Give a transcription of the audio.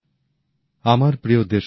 নতুনদিল্লি ২৭শে সেপ্টেম্বর ২০২০